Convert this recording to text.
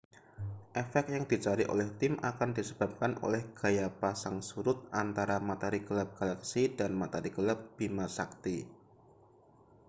efek yang dicari oleh tim akan disebabkan oleh gaya pasang surut antara materi gelap galaksi dan materi gelap bima sakti